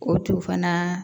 O tun fana